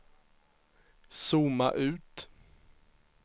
zooma ut